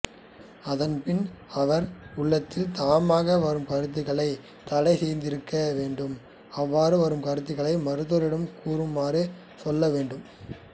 அதன்பின் அவர் உளத்தில் தாமாக வரும் கருத்துக்களைத் தடைசெய்யாதிருக்கவேண்டும் அவ்வாறு வரும் கருத்துக்களை மருத்துவரிடம் கூறுமாறு சொல்லவேண்டும்